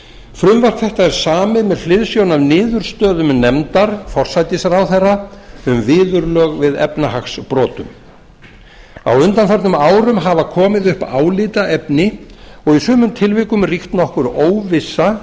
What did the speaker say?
frumvarp þetta er samið með hliðsjón af niðurstöðum nefndar forsætisráðherra um viðurlög við efnahagsbrotum á undanförnum árum hafa komið upp álitaefni og í sumum tilvikum ríkt nokkur óvissa